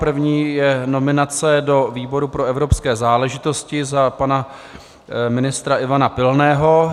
První je nominace do výboru pro evropské záležitosti za pana ministra Ivana Pilného.